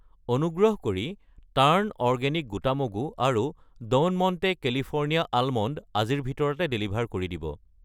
অনুগ্ৰহ কৰি turn organic গোটা মগু আৰু ড'ন মণ্টে কেলিফৰ্ণিয়া আলমণ্ড আজিৰ ভিতৰতে ডেলিভাৰ কৰি দিব।